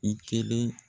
I kelen